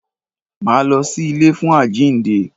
Máa lọ sí ilé fún àjínde.